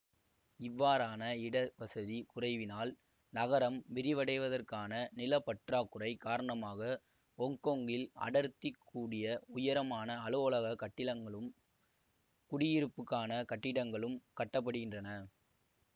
இவ்வாறான இடவசதிக் குறைவினால் நகரம் விரிவடைவதற்கான நிலப்பற்றாக்குறை காரணமாக ஒங்கொங்கில் அடர்த்தி கூடிய உயரமான அலுவலக கட்டிடங்களும் குடியிருப்புக்கான கட்டிடங்களும் கட்ட படுகின்றன